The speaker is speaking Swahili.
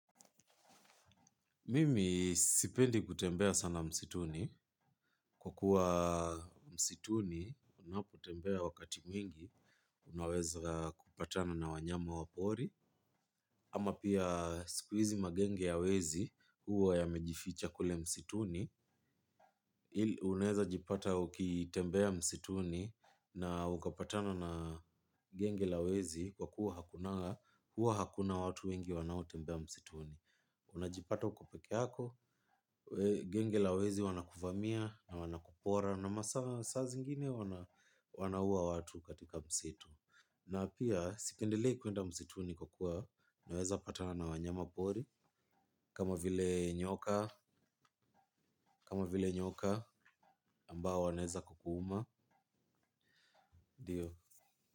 Mimi sipendi kutembea sana msituni. Kwa kuwa msituni, unapotembea wakati mwingi, unaweza kupatana na wanyama wa pori. Ama pia siku hizi magenge ya wezi huwa yamejificha kule msituni, uneza jipata ukitembea msituni na ukapatana na genge la wezi kwa kuwa hakuna, huwa hakuna watu wengi wanaotembea msituni. Unajipata uko peke yako, genge la wezi wanakuvamia na wanakupora. Na masaa saa zingine wanaua watu katika msitu. Na pia sipendelei kwenda msituni kwa kuwa naweza patana na wanyama pori. Kama vile nyoka, kama vile nyoka ambao wanaeza kukuuma ndio.